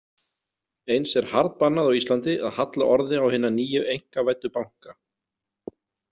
Eins er harðbannað á Íslandi að halla orði á hina nýju einkavæddu banka.